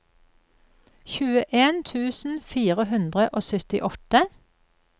tjueen tusen fire hundre og syttiåtte